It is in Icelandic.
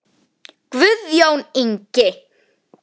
Guðjón Ingi.